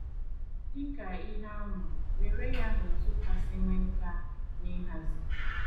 Dị ka ihe ama, were ya na otu kasị nwee nkà n’ịhazi.